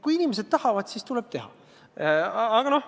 Kui inimesed tahavad, siis tuleb teha.